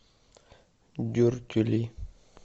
дюртюли